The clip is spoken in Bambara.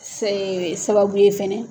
Ee sababu ye fana.